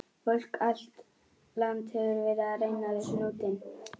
Fólk um allt land hefur verið að reyna við hnútinn.